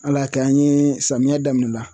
Ala y'a kɛ an ye samiya daminɛ la